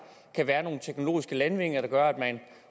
kan være nogle teknologiske landvindinger der gør at man